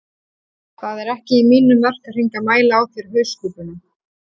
Það er ekki í mínum verkahring að mæla á þér hauskúpuna